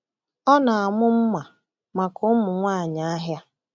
Ọ na-amụ mma maka ụmụ nwanyị ahịa.